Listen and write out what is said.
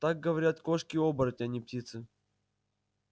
так говорят кошки-оборотни а не птицы